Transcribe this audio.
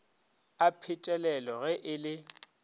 a phetelelo ge e le